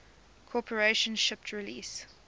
corporation shipped release